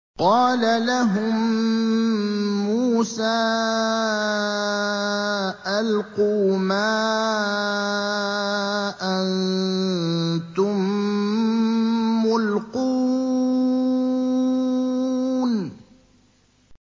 قَالَ لَهُم مُّوسَىٰ أَلْقُوا مَا أَنتُم مُّلْقُونَ